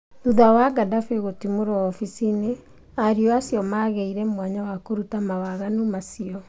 Thuthaya Gaddaffi kutimorwo obithĩnĩ, ario acu mageire mwanya wa kũruta mawaganu acu